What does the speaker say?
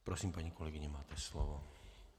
Prosím, paní kolegyně, máte slovo.